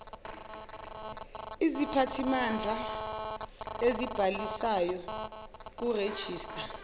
isiphathimandla esibhalisayo kurejista